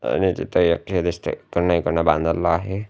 आणि याच्याच एक हे दिसतंय इकडंन इकडंन बांधारला आहे.